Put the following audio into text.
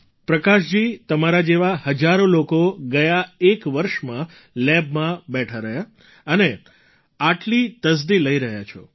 પ્રકાશજી તમારા જેવા હજારો લોકો ગયા એક વર્ષમાં લેબમાં બેઠા રહ્યા અને આટલી તસદી લઈ રહ્યા છો